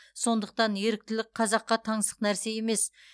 сондықтан еріктілік қазаққа таңсық нәрсе емес